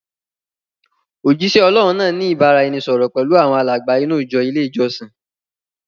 Òjisẹ Ọlọ́hun náà ni ìbáraẹnisọọ̀rọ̀ pẹlu awọn alàgbà inú ìjọ ilé ìjọsìn.